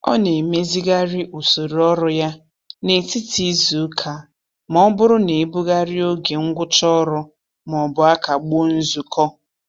Ọ na-emezigharị usoro ọrụ ya n'etiti izuụka ma ọ bụrụ na e bugharịa oge ngwụcha ọrụ maọbụ a kagbuo nzukọ.